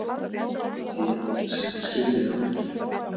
Hann lét sem hann skildi þá ekki.